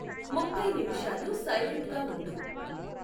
ముఫై నిమిషాలు సైలెంట్గా వుండు